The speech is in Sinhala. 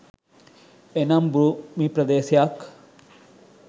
එනම් භූමි ප්‍රදේශයක්